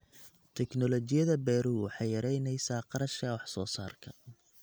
Tignoolajiyada beeruhu waxay yaraynaysaa kharashka wax soo saarka.